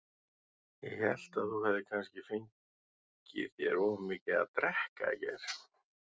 Ég hélt þú hefðir kannski fengið þér of mikið að drekka í gær.